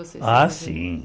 Ah, sim.